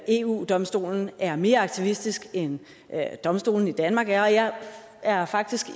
eu domstolen er mere aktivistisk end domstolene i danmark er jeg er faktisk